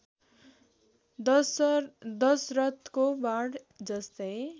दशरथको बाण जस्तै